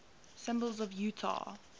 symbols of utah